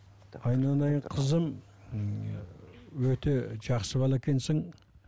айналайын қызым өте жақсы бала екенсің